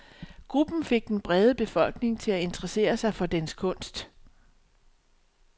Gruppen fik den brede befolkning til at interessere sig for dens kunst.